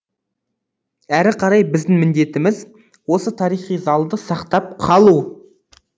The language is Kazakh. әрі қарай біздің міндетіміз осы тарихи залды сақтап қалу